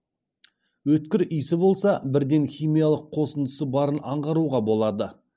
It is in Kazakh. өткір иісі болса бірден химиялық қосындысы барын аңғаруға болады